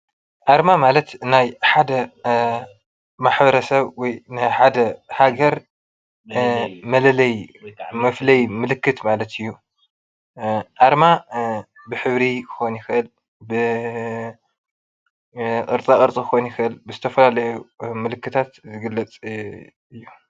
ኣርማ ማለት ናይ ሓደ ማሕበረሰብ ወይ ናይ ሓደ ሃገር መለለዪ ወይከዓ መፍለይ ምልክት ማለት እዩ። ኣርማ ብሕብሪ ክኮን ይክእል ብቅርፃቅርፂ ክኮን ይክእል ብዝተፈላለዩ ምልክታት ይግለፅ እዩ።